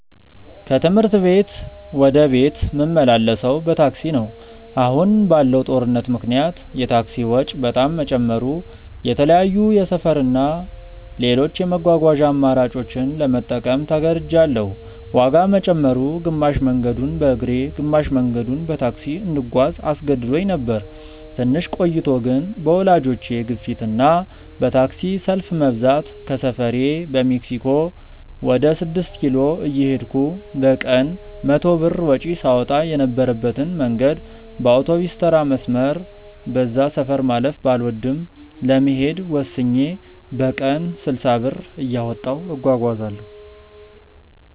ከትምህርት ቤት ወደ ቤት ምመላለሰው በታክሲ ነው። አሁን ባለው ጦርነት ምክንያት የታክሲ ወጪ በጣም መጨመሩ የተለያዩ የሰፈር እና ሌሎች የመጓጓዣ አማራጮችን ለመጠቀም ተገድጅያለው። ዋጋ መጨመሩ፣ ግማሽ መንገዱን በእግሬ ግማሽ መንገዱን በታክሲ እንድጓዝ አስገድዶኝ ነበር። ትንሽ ቆይቶ ግን በወላጆቼ ግፊት እና በታክሲ ሰልፍ መብዛት ከሰፈሬ በሜክሲኮ ወደ ስድስት ኪሎ እየሄድኩ በቀን 100 ብር ወጪ ሳወጣ የነበረበትን መንገድ በአውቶቢስተራ መስመር (በዛ ሰፈር ማለፍ ባልወድም) ለመሄድ ወስኜ በቀን 60 ብር እያወጣሁ እጓጓዛለው።